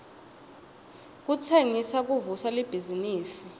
kutsengisa kuvusa libhizinifi